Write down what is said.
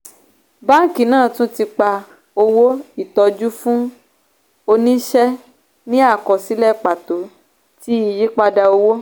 báńkì náà tún ti pa owó ìtọ́jú fún oníṣe ní àkọsílẹ̀ pàtó ti iyípadà owó